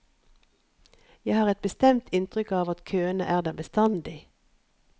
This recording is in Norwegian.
Jeg har et bestemt inntrykk av at køene er der bestandig.